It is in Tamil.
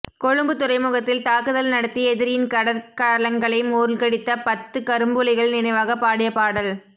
கொழும்புத் துறைமுகத்தில் தாக்குதல் நடத்தி எதிரியின் கடற்கலங்களை மூழ்கடித்த பத்துக் கரும்புலிகள் நினைவாக பாடிய பாடல்